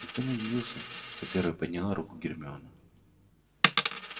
никто не удивился что первой подняла руку гермиона